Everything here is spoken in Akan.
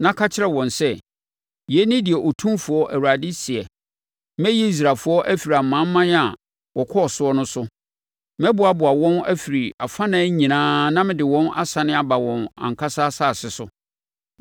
na ka kyerɛ wɔn sɛ, ‘Yei ne deɛ Otumfoɔ Awurade seɛ: Mɛyi Israelfoɔ afiri amanaman a wɔkɔ soɔ no so. Mɛboaboa wɔn ano afiri afanan nyinaa na mede wɔn asane aba wɔn ankasa asase so.